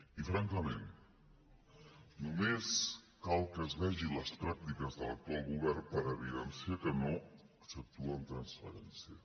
i francament només cal que es vegin les pràctiques de l’actual govern per evidenciar que no s’actua amb transparència